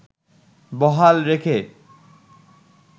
বহাল রেখে